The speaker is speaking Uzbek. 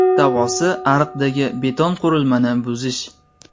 Davosi ariqdagi beton-qurilmani buzish.